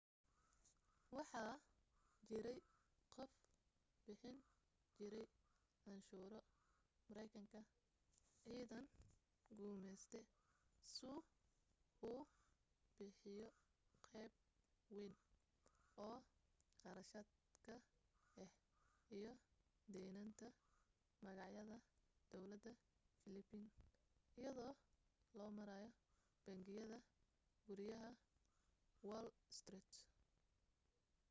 waxaa jirey qof bixin jiray canshuuro mareykanka ciidan gumeyste suu u bixiyo qeyb weyn oo qarashaad ka ah iyo daneenta magacyada dawlada philippine iyado loo marayo bangiyada guryaha wall street